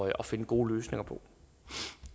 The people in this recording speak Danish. at finde gode løsninger på